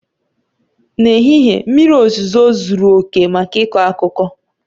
N'ehihie mmiri ozuzo zuru oke maka ịkọ akụkọ.